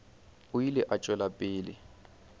o ile a tšwela pele